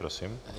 Prosím.